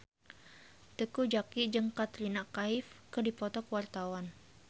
Teuku Zacky jeung Katrina Kaif keur dipoto ku wartawan